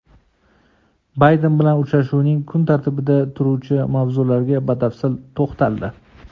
Bayden bilan uchrashuvining kun tartibida turuvchi mavzularga batafsil to‘xtaldi.